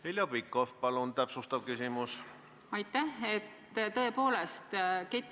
Heljo Pikhof, palun täpsustav küsimus!